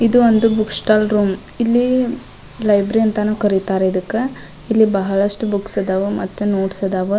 ಇದು ಒಂದು book stall room ಇಲ್ಲಿ ಲೈಬ್ರಿ ಅಂತಾನು ಕರೀತಾರೆ ಇದಕ್ಕ ಇಲ್ಲಿ ಬಹಳಷ್ಟು ಬುಕ್ಸ್ ಇದಾವ್ ಮತ್ತ ನೋಟ್ಸ್ ಇದಾವ್ .